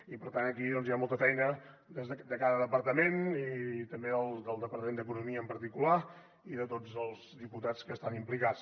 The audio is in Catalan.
i per tant aquí hi ha molta feina de cada departament i també del departament d’economia en particular i de tots els diputats que hi estan implicats